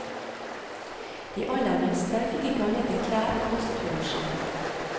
De aller minste fikk ikke annet enn klær, kost og losji.